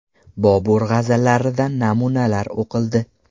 Bobur g‘azallaridan namunalar o‘qildi.